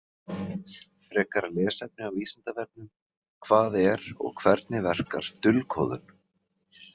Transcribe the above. Frekara lesefni á Vísindavefnum: Hvað er og hvernig verkar dulkóðun?